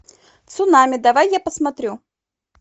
цунами давай я посмотрю